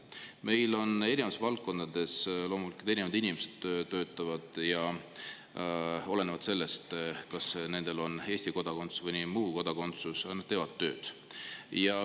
Meil on erinevates valdkondades loomulikult erinevad inimesed tööl, aga olenemata sellest, kas nendel on Eesti kodakondsus või mõni muu kodakondsus, nad teevad oma tööd.